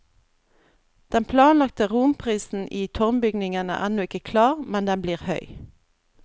Den planlagte romprisen i tårnbygningen er ennå ikke klar, men den blir høy.